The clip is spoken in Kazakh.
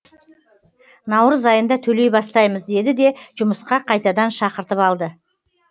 наурыз айында төлей бастаймыз деді де жұмысқа қайтадан шақыртып алды